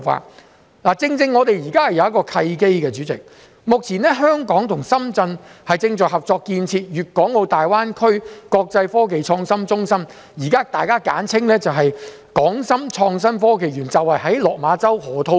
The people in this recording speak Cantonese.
代理主席，我們現時正好有一個契機，目前香港與深圳正在合作建設粵港澳大灣區國際科技創新中心，即是現時大家簡稱的港深創新及科技園，便是位於落馬洲河套區。